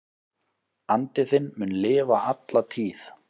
Andi þinn mun lifa alla tíð.